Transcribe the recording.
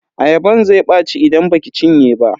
Ayaban zai ɓaci idan baki cinye ba.